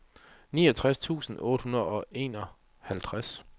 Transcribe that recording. niogtres tusind otte hundrede og enoghalvtreds